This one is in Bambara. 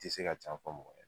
I tɛ se ka ca fɔ mɔgɔ ye